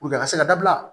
a ka se ka dabila